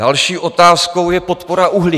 Další otázkou je podpora uhlí.